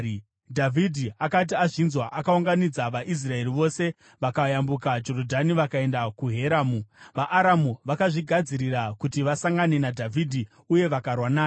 Dhavhidhi akati azvinzwa, akaunganidza vaIsraeri vose, vakayambuka Jorodhani vakaenda kuHeramu. VaAramu vakazvigadzirira kuti vasangane naDhavhidhi uye vakarwa naye.